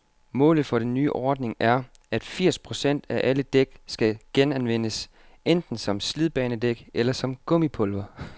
Målet for den nye ordning er, at firs procent af alle dæk skal genanvendes, enten som slidbanedæk eller som gummipulver.